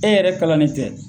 E yɛrɛ kalan nen tɛ